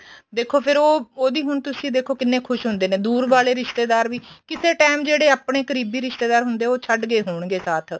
ਦੇਖੋ ਫੇਰ ਉਹ ਉਹਦੀ ਹੁਣ ਤੁਸੀਂ ਦੇਖੋ ਕਿੰਨੇ ਖੁਸ਼ ਹੁੰਦੇ ਨੇ ਦੁਰ ਵਾਲੇ ਰਿਸ਼ਤੇਦਾਰ ਵੀ ਕਿਸੇ time ਜਿਹੜੇ ਆਪਣੇ ਕਰੀਬੀ ਰਿਸ਼ਤੇਦਾਰ ਹੁੰਦੇ ਏ ਉਹ ਛੱਡਗੇ ਹੋਣਗੇ ਸਾਥ